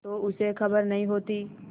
तो उसे खबर नहीं होती